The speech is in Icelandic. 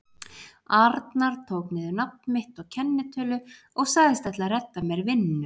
arnar tók niður nafn mitt og kennitölu og sagðist ætla að redda mér vinnu.